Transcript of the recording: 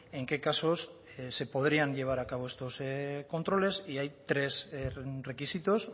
en qué casos se podrían llevar a cabo estos controles y hay tres requisitos